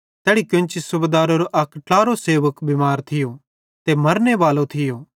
तैड़ी केन्ची सूबेदारेरो अक ट्लारो सेवक बिमैरी सेइं मरने बालो थियो